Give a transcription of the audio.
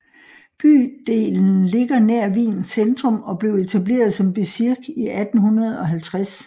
Bydelen ligger nær Wiens centrum og blev etableret som bezirk i 1850